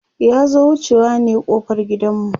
ya zo wucewa ne ƙofar gidan mu